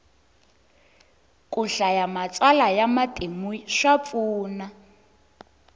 ku hlaya matsalwa ya matimu swa pfuna